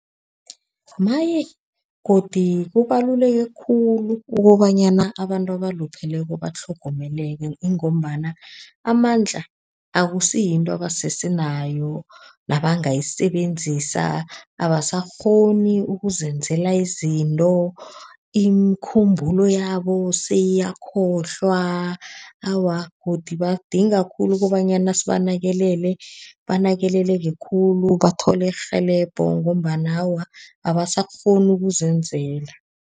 Maye, godu kubaluleke khulu ukobanyana abantu abalupheleko batlhogomeleke. Kungombana amandla akusiyinto abasese nayo, nabangayisebenzisa, abasakghoni ukuzenzela izinto, imikhumbulo yabo seyiyakhohlwa. Awa, godu badinga khulu kobanyana sibanakelele. Banakeleleke khulu, bathole irhelebho ngombana awa, abasakghoni ukuzenzela.